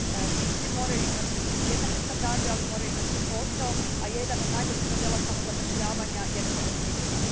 Ti ljudi moraju imati jednake standarde, ali moraju imati i posao, a jedan od najboljih modela samozapošljavanja je poljoprivreda.